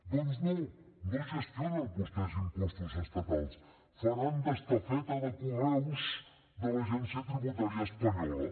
doncs no no gestionen vostès impostos estatals faran d’estafeta de correus de l’agència tributària espanyola